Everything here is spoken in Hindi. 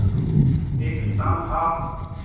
एक किसान था